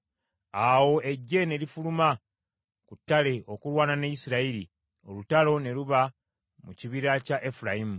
Awo eggye ne lifuluma ku ttale okulwana ne Isirayiri, olutalo ne luba mu kibira kya Efulayimu.